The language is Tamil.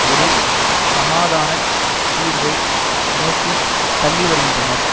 ஒரு சமாதான தீர்வை நோக்கி தள்ளி வருகின்றனர்